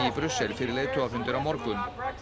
Brussel fyrir leiðtogafundinn á morgun